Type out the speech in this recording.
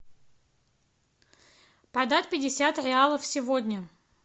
продать пятьдесят реалов сегодня